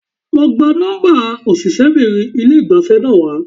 Lọ gba nọ́ḿbà òṣìṣẹ́bìnrin ilé ìgbafẹ́ náà wá.